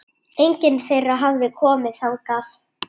Enginn þeirra hafði komið þangað.